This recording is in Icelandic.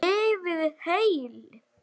Lifið heil.